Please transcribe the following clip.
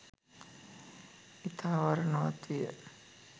ඉතා වර්ණවත් විය.